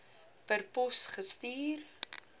per pos gestuur